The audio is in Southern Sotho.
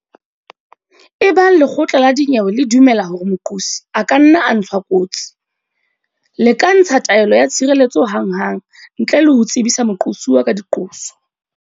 Ebang lekgotla la dinyewe le dumela hore moqosi a ka nna a ntshwa kotsi le ka ntsha taelo ya tshireletso hanghang ntle le ho tsebisa moqosuwa ka diqoso.